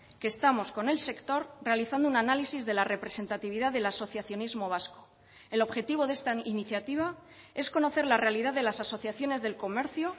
que estamos con el sector realizando un análisis de la representatividad del asociacionismo vasco el objetivo de esta iniciativa es conocer la realidad de las asociaciones del comercio